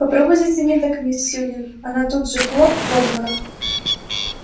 попробуй затяни так мисс сьюлин она тут же хлоп в обморок